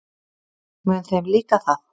Mun þeim líka það?